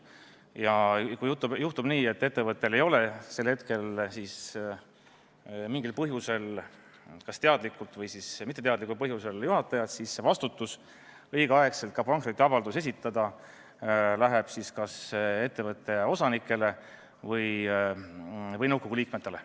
Ja kui juhtub nii, et ettevõttel ei ole sel hetkel mingil põhjusel – kas teadlikult või mitteteadlikult – juhatajat, siis vastutus õigel ajal pankrotiavalduse esitamise eest läheb kas ettevõtte osanikele või nõukogu liikmetele.